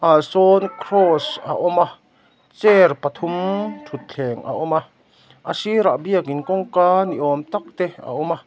ah sawn cross a awm a chair pathum thutthleng a awm a a sirah biakin kawngka ni awm tak te a awm a.